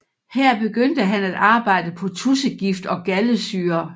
Her begyndte han at arbejde på tudsegift og galdesyre